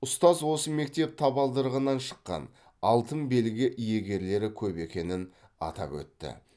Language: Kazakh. ұстаз осы мектеп табалдырығынан шыққан алтын белгі иегерлері көп екенін атап өтті